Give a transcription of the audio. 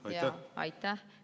Aitäh!